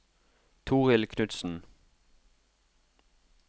Torhild Knudsen